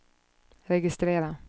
registrera